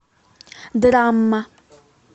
драма